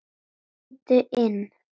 Komdu inn